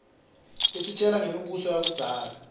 isitjela ngemi buso yakuiszala